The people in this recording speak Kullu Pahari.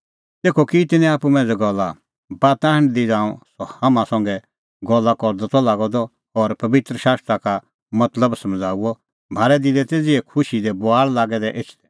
तेखअ की तिन्नैं आप्पू मांझ़ै गल्ला बाता हांढदी ज़ांऊं सह हाम्हां संघै गल्ला करदअ त लागअ द और पबित्र शास्त्रा का मतलब समझ़ाऊअ म्हारै दिलै तै ज़िहै खुशी दी बुआल़ लागै दै एछदै